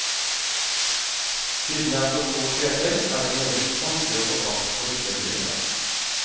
Siden det er så få seter er det meget vanskelig å få plass på disse flyene.